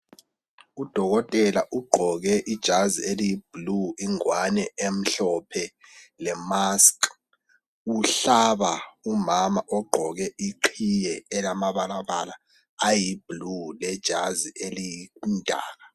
Udokotela ugqoke ijazi eliyi blue, ingwane emhlophe lemask. Uhlaba umama ogqoke iqhiye elamabalabala ayiblue, lejazi elimdaka.